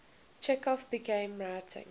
chekhov began writing